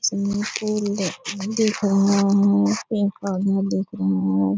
Swimming pool दी दिख रहे है पेड़ पौधे दिख रहे हैं।